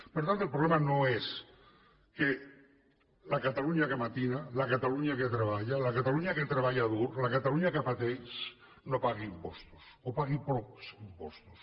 per tant el problema no és que la catalunya que matina la catalunya que treballa la catalunya que treballa dur la catalunya que pateix no pagui impostos o pagui pocs impostos